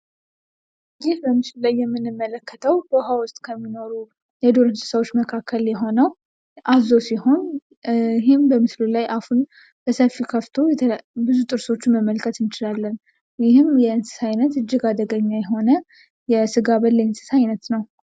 ይህ በምስሉ ላይ የምንመለከተው በውሃ ውስጥ ከሚኖሩ የዱር እንስሳቶች መካከል የሆነው አዞ ሲሆን በምስሉ ላይ አፉን በሰፊው ከፍቶ ብዙ ጥርሶችን ማየት እንችላለን። ይህ በጣም አደገኛ የሆነ የስጋ በል እንስሳ ነው።